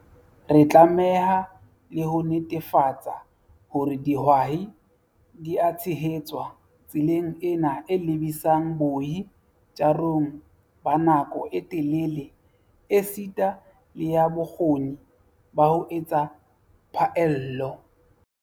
Re tlameha le ho netefatsa hore dihwai di a tshehetswa tseleng ena e lebisang boi tjarong ba nako e telele esita le ya bokgoni ba ho etsa phaello.